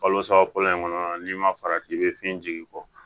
Kalo saba fɔlɔ in kɔnɔ n'i ma farati i bɛ fiɲɛ jigi bɔ